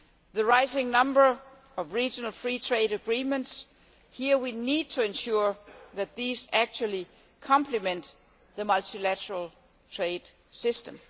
the rising number of regional free trade agreements here, we need to ensure that these actually complement the multilateral trade system